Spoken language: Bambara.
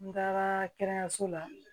N taara kɛnɛyaso la